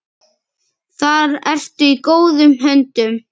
Þar ertu í góðum höndum.